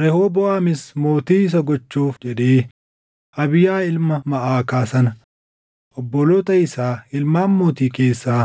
Rehooboʼaamis mootii isa gochuuf jedhee Abiyaa ilma Maʼakaa sana obboloota isaa ilmaan mootii keessaa